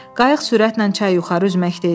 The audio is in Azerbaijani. Qayıq sürətlə çay yuxarı üzməkdə idi.